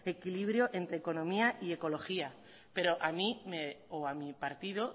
equilibrio entre economía y ecología pero a mí o a mi partido